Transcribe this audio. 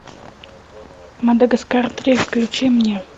мадагаскар три включи мне